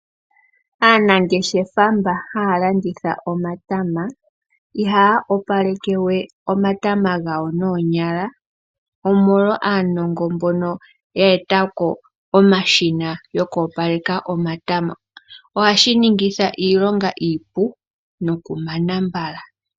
Aanangeshefa mboka haya landitha omatama iha opaleke we omatama gawo noonyala. Omolwa aanongo mbono ya etako omashina gwoku opalekwa omatama ,ohashi ningitha iilonga iipu noku mana mbala.